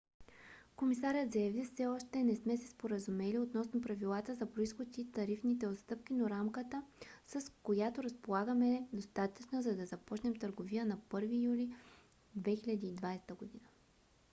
комисарят заяви: все още не сме се споразумели относно правилата за произход и тарифните отстъпки но рамката с която разполагаме е достатъчна за да започнем търговия на 1 юли 2020 г.